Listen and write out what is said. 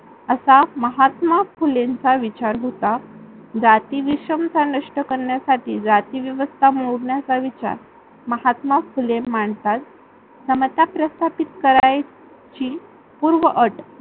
असा महात्मा फुलेंचा विचार होता. जाती विषमता नष्ट करण्यासाठी जाती व्यवस्था मोडण्याचा विचार महात्मा फुले मांडतात. समता प्रस्थापित करायची पूर्व अट